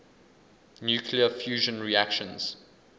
nuclear fusion reactions